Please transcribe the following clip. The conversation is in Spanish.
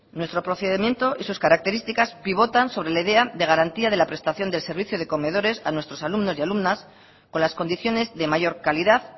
nuestro procedimiento y sus características pivotan sobre la idea de garantía de la prestación del servicio de comedores a nuestros alumnos y alumnas con las condiciones de mayor calidad